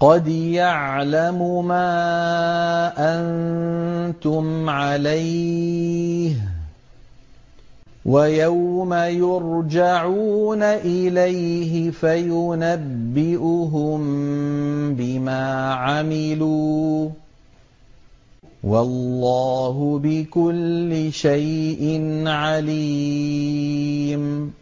قَدْ يَعْلَمُ مَا أَنتُمْ عَلَيْهِ وَيَوْمَ يُرْجَعُونَ إِلَيْهِ فَيُنَبِّئُهُم بِمَا عَمِلُوا ۗ وَاللَّهُ بِكُلِّ شَيْءٍ عَلِيمٌ